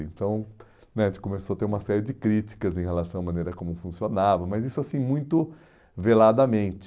Então né, a gente começou a ter uma série de críticas em relação à maneira como funcionava, mas isso assim muito veladamente.